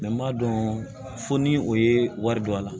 Mɛ n b'a dɔn fo ni o ye wari don a la